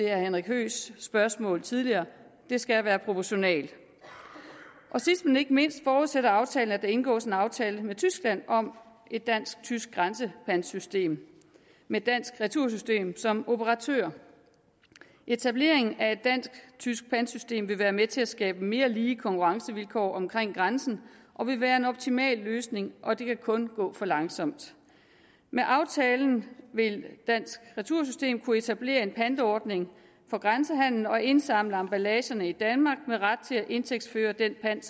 herre henrik høeghs spørgsmål tidligere det skal være proportionalt sidst men ikke mindst forudsætter aftalen at der indgås en aftale med tyskland om et dansk tysk grænsepantsystem med dansk retursystem som operatør etablering af et dansk tysk pantsystem vil være med til at skabe mere lige konkurrencevilkår ved grænsen og vil være en optimal løsning og det kan kun gå for langsomt med aftalen vil dansk retursystem kunne etablere en pantordning for grænsehandelen og indsamle emballagen i danmark med ret til at indtægtsføre den pant